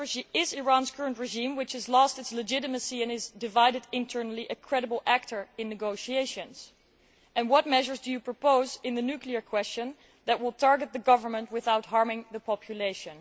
Is Iran's current regime, which has lost its legitimacy and is divided internally, a credible actor in negotiations? What measures do you propose in the nuclear question that will target the government without harming the population?